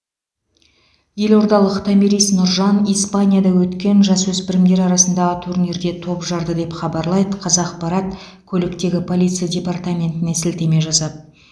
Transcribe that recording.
елордалық томирис нұржан испанияда өткен жасөспірімдер арасындағы турнирде топ жарды деп хабарлайды қазақпарат көліктегі полиция департаментіне сілтеме жасап